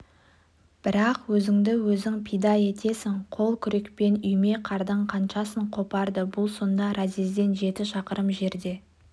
бірақ өзіңді-өзің пида етесің қол күрекпен үйме қардың қаншасын қопарды бұл сонда разъезден жеті шақырым жерде